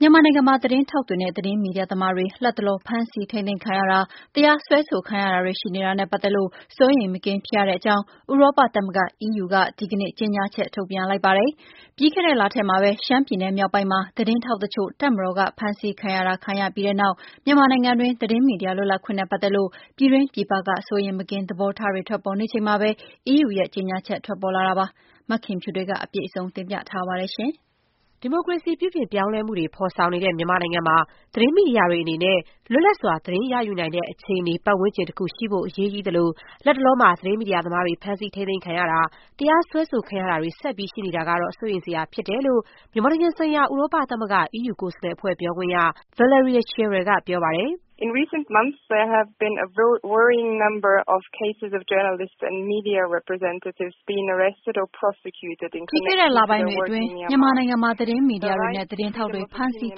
မြန်မာနိုင်ငံမှာ သတင်းထောက်တွေနဲ့ သတင်းမီဒီယာသမားတွေ လတ်တလော ဖမ်းဆီး ထိန်းသိမ်းခံရတာ၊ တရားစွဲဆိုခံရတာတွေ ရှိနေတာနဲ့ ပတ်သက်လို့ စိုးရိမ်မကင်း ဖြစ်ရတဲ့အကြောင်း ဥရောပသမဂ္ဂ EUက ဒီကနေ့ ကြေညာချက် ထုတ်ပြန်လိုက်ပါတယ်။ ပြီးခဲ့တဲ့လထဲမှာပဲ ရှမ်းပြည်နယ်မြောက်ပိုင်းမှာ သတင်းထောက်တချို့ တပ်မတော်က ဖမ်းဆီးခံရတာ ခံခဲ့ရ ပြီးတဲ့နောက် မြန်မာနိုင်ငံတွင်း သတင်းမီဒီယာ လွတ်လပ်ခွင့်နဲ့ ပတ်သက်လို့ ပြည်တွင်းပြည်ပက စိုးရိမ်မကင်း သဘောထားတွေ ထွက်ပေါ်နေချိန်မှာပဲ EUရဲ့ ကြေညာချက် ထွက်လာတာပါ။ မခင်ဖြူထွေးက အပြည့်စုံ တင်ပြပေးပါမယ်။ ဒီမိုကရေစီ ပြုပြင်ပြောင်းလဲမှုတွေ ဖော်ဆောင်နေတဲ့ မြန်မာနိုင်ငံမှာ သတင်းမီဒီယာတွေ အနေနဲ့ လွတ်လပ်စွာ သတင်းရယူနိုင်တဲ့ အခြေအနေ ပတ်ဝန်းကျင်တခု ရှိဖို့ အရေးကြီးသလို၊ လတ်တလော သတင်းမီဒီယာသမားတွေ ဖမ်းဆီးထိန်းသိမ်းခံရတာ၊ တရားစွဲဆို ခံရတာတွေ ဆက်ပြီး ရှိနေတာဟာ စိုးရိမ်စရာ ဖြစ်တယ်လို့ မြန်မာနိုင်ငံဆိုင်ရာ ဥရောပသမဂ္ဂ EU ကိုယ်စားလှယ်အဖွဲ့ ပြောခွင့်ရ Valerie Zirl က ပြောပါတယ်။ “ပြီးခဲ့တဲ့လပိုင်းတွေအတွင်း မြန်မာနိုင်ငံမှာ သတင်းမီဒီယာတွေနဲ့ သတင်းထောက်တွေ ဖမ်းဆီး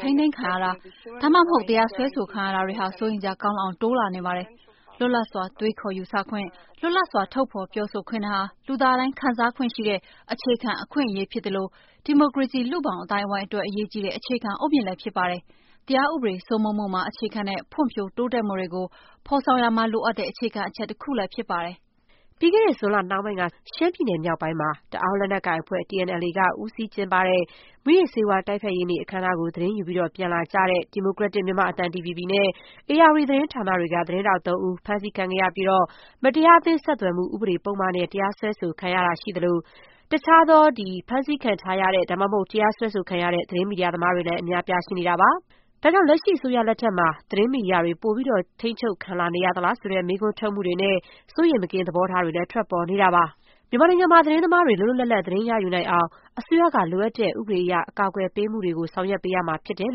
ထိန်းသိမ်းခံရတာ ဒါမှမဟုတ် တရားစွဲဆိုခံရတာတွေဟာ စိုးရိမ်စရာကောင်းလောက်အောင် တိုးလာနေပါတယ်။ လွတ်လပ်စွာ တွေးခေါ်ယူဆခွင့်၊ လွတ်လပ်စွာ ထုတ်ဖော်ပြောဆိုခွင့် တွေဟာ လူသားတိုင်း ခံစားခွင့်ရှိတဲ့ အခြေခံ အခွင့်အရေးဖြစ်သလို၊ ဒီမိုကရေစီ လူ့ဘောင်အသိုင်းအဝိုင်းအတွက် အရေးကြီးတဲ့ အခြေခံအုတ်မြစ်လည်း ဖြစ်ပါတယ်။ တရားဥပဒေစိုးမိုးမှုမှာ အခြေခံတဲ့ ဖွံ့ဖြိုး တိုးတက်မှုတွေကို ဖော်ဆောင်ရာမှာ လိုအပ်တဲ့ အခြေခံအချက် တခုလည်း ဖြစ်ပါတယ်။” ပြီးခဲ့တဲ့ ဇွန်လနှောင်းပိုင်းက ရှမ်းပြည်နယ်မြောက်ပိုင်းမှာ တအောင်းလက်နက်ကိုင်အဖွဲ့ TNLA က ဦးစီးကျင်းပတဲ့ မူးယစ်ဆေးဝါး တိုက်ဖျက်ရေးနေ့ အခမ်းအနားကို သတင်းယူပြီး ပြန်လာကြတဲ့ ဒီမိုကရက်တစ်မြန်မာ့အသံ DVB နဲ့ ဧရာဝတီ သတင်းဌာနတွေက သတင်းထောက် သုံးဦး ဖမ်းဆီးခံခဲ့ရပြီး မတရားအသင်း ဆက်သွယ်မှု ပုဒ်မဥပဒေနဲ့ စွပ်စွဲခံထားရတာရှိသလို၊ တခြားသော ဖမ်းဆီးခံထားရတဲ့ ဒါမှမဟုတ် တရားစွဲဆိုခံထားရတဲ့ သတင်းမီဒီယာသမားတွေလည်း အများအပြား ရှိနေတာပါ။ ဒါကြောင့် လက်ရှိအစိုးရလက်ထက်မှာ သတင်းမီဒီယာ ပိုပြီး ထိန်းချုပ်ခံလာနေရသလား ဆိုတဲ့ မေးခွန်း ထုတ်မှုတွေနဲ့ စိုးရိမ်မကင်း သဘောထားတွေလည်း ထွက်ပေါ်နေပါတယ်။ မြန်မာနိုင်ငံမှာ သတင်းသမားတွေ လွတ်လွတ်လပ်လပ် သတင်းရယူနိုင်အောင် အစိုးရက လိုအပ်တဲ့ ဥပဒေအရ အကာအကွယ်ပေးမှုတွေ ဆောင်ရွက်ပေးရမှာဖြစ်တယ်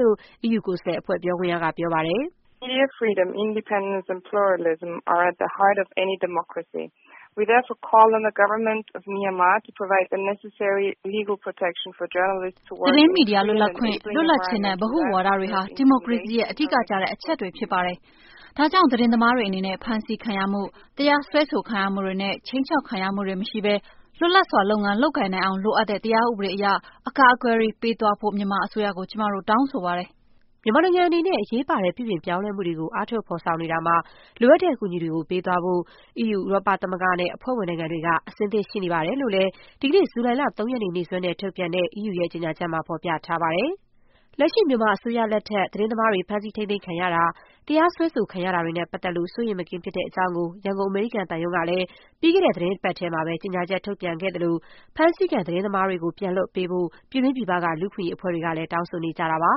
လို့ အီးယူကိုယ်စားလှယ်အဖွဲ့ ပြောခွင့်ရ က ပြောပါတယ်။ “သတင်းမီဒီယာ လွတ်လပ်ခွင့်၊ လွတ်လပ်ခြင်း နဲ့ ဗဟုဝါဒ တွေဟာ ဒီမိုကရေစီရဲ့ အဓိကကျတဲ့ အချက်တွေဖြစ်ပါတယ်။ ဒါကြောင့် သတင်းသမားတွေအနေနဲ့ ဖမ်းဆီးခံရမှု၊ တရားစွဲဆိုခံရမှုတွေနဲ့ ခြိမ်းခြောက်ခံရမှုတွေ မရှိဘဲ လွတ်လပ်စွာ လုပ်ငန်းလုပ်ကိုင်နိုင်အောင် လိုအပ်တဲ့ တရားဥပဒေအရ အကာအကွယ်တွေ ပေးသွားဖို့ မြန်မာအစိုးရကို ကျမတို့ တောင်းဆိုပါတယ်။” မြန်မာနိုင်ငံအနေနဲ့ အရေးပါတဲ့ ပြုပြင်ပြောင်းလဲမှုတွေကို အားထုတ် ဖော်ဆောင်နေတာမှာ လိုအပ်တဲ့အကူအညီတွေ ပေးသွားဖို့ ဥရောပသမဂ္ဂနဲ့ အဖွဲ့ဝင်နိုင်ငံတွေက အဆင်သင့် ရှိနေပါတယ်လို့လည်း ဒီကနေ့ ဇူလိုင်လ ၃ ရက်နေ့ နေ့စွဲနဲ့ ထုတ်ပြန်တဲ့ ဥရောပသမဂ္ဂရဲ့ ကြေညာချက်မှာ ဖော်ပြထားပါတယ်။ လက်ရှိမြန်မာအစိုးရလက်ထက် သတင်းသမားတွေ ဖမ်းဆီးထိန်းသိမ်းခံရတာ၊ တရားစွဲဆို ခံနေရတာတွေနဲ့ ပတ်သက်လို့ စိုးရိမ်မကင်း ဖြစ်ရတဲ့အကြောင်းကို ရန်ကုန် အမေရိကန်သံရုံးကလည်း ပြီးခဲ့တဲ့သီတင်းပတ်ထဲမှာပဲ ကြေညာချက်ထုတ်ပြန်ခဲ့သလို၊ ဖမ်းဆီးခံ သတင်းသမားတွေကို ပြန်လွှတ်ပေးဖို့ ပြည်တွင်းပြည်ပက လူ့အခွင့်အရေး အဖွဲ့တွေကလည်း တောင်းဆိုနေကြတာပါ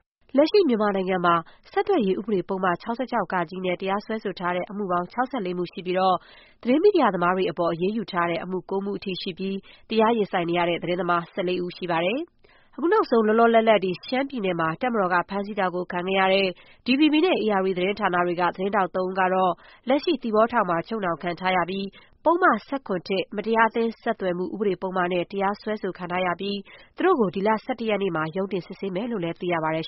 ။ လက်ရှိမြန်မာနိုင်ငံမှာ ဆက်သွယ်ရေး ဥပဒေ ပုဒ်မ ၆၆ ဃ နဲ့ တရားစွဲဆိုထားတဲ့ အမှုပေါင်း ၆၄ မှု ရှိပြီးတော့ သတင်းမီဒီယာသမားတွေ အပေါ် အရေးယူထားတဲ့အမှု ၉ မှုအထိရှိပြီး တရားရင်ဆိုင်နေရတဲ့ သတင်းသမား ၁၄ ဦး ရှိပါတယ်။ နောက်ဆုံး လောလောလတ်လတ် ရှမ်းပြည်နယ်မှာ တပ်မတော်က ဖမ်းဆီးတာ ခံခဲ့ရတဲ့ DVB နဲ့ ဧရာဝတီသတင်းဌာနတွေက သတင်းထောက် သုံးဦးကတော့ လက်ရှိ သီပေါအကျဥ်းထောင်မှာ ချုပ်နှောင် ခံထားရပြီး ပုဒ်မ ၁၇ မတရားအသင်း ဆက်သွယ်မှု ဥပဒေပုဒ်မနဲ့ တရားစွဲဆိုထားပြီးတော့ သူတို့ကို ဒီလ ၁၁ ရက်နေ့မှာ ရုံးတင်စစ်ဆေးမယ်လို့လည်း သိရပါတယ်